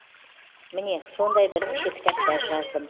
міне сондай бірнеше кітаптар жаздым